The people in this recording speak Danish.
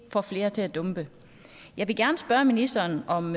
får flere til at dumpe jeg vil gerne spørge ministeren om